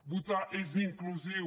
votar és inclusiu